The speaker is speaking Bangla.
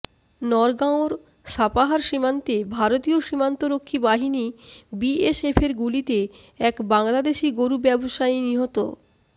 নওগাঁর সাপাহার সীমান্তে ভারতীয় সীমান্তরক্ষী বাহিনী বিএসএফের গুলিতে এক বাংলাদেশি গরু ব্যবসায়ী নিহত